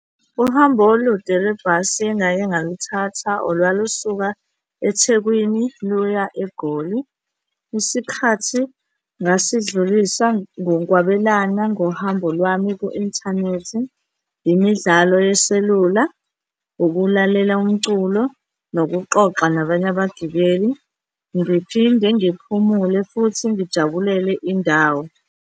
Uhambo olude lwebhasi engake ngaluthatha olwalusuka eThekwini luya eGoli. Isikhathi ngasidlulisa ngokwabelana ngohambo lwami ku-inthanethi, imidlalo yeselula, ukulalela umculo nokuxoxa nabanye abagibeli, ngiphinde ngiphumule futhi ngijabulele indawo.